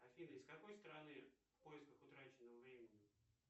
афина из какой страны в поисках утраченного времени